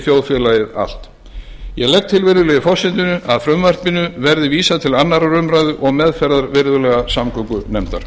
þjóðfélagið allt ég legg til að frumvarpinu verði vísað til annarrar umræðu og meðferðar virðulegrar samgöngunefndar